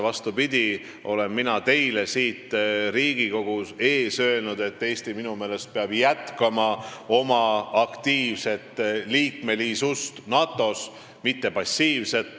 Vastupidi, mina olen teile siin Riigikogu ees öelnud, et Eesti peab minu meelest jätkama oma aktiivset liikmesust NATO-s, liikmesus ei pea olema passiivne.